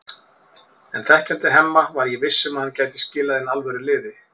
En þekkjandi Hemma var ég viss um að hann gæti skilað inn alvöru liði.